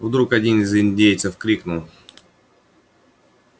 и вдруг один из индейцев крикнул